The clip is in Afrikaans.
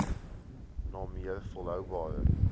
na meer volhoubare